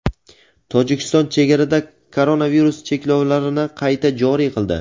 Tojikiston chegarada koronavirus cheklovlarini qayta joriy qildi.